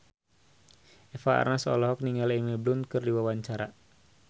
Eva Arnaz olohok ningali Emily Blunt keur diwawancara